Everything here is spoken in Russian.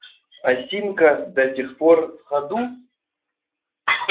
осинка до сих пор в ходу